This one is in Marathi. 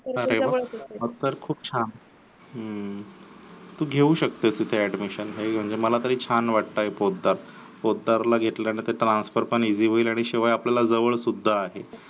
अरे वा तर खूप छान हम्म तू घेऊ शकते तिथे admission मला तरी छान वाटतेय पोतदार. पोतदारला घेतलं ना ते transfer पण easy होईल शिवाय आपल्याला जवळ सुद्धा आहे.